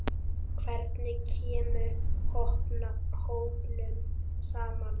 Hvernig kemur hópnum saman?